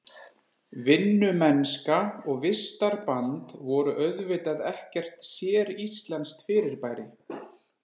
Vinnumennska og vistarband voru auðvitað ekkert séríslenskt fyrirbæri.